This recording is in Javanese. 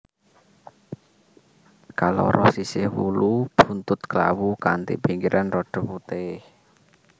Kaloro sisih wulu buntut klawu kanthi pinggiran rada putih